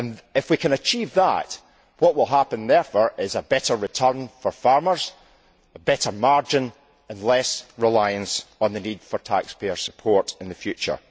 If we can achieve that, what will then happen is a better return for farmers, a better margin, and less reliance on the need for taxpayers' support in the future.